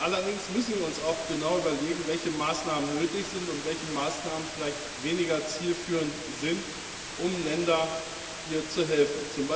Allerdings müssen wir uns auch genau überlegen, welche Maßnahmen nötig sind und welche Maßnahmen vielleicht weniger zielführend sind, um Ländern hier zu helfen.